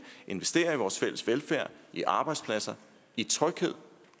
investere i vores fælles velfærd i arbejdspladser i tryghed